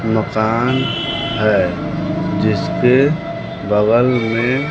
मकान है जिसके बगल में--